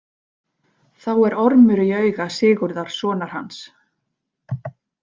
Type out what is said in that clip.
Þá er ormur í auga Sigurðar sonar hans.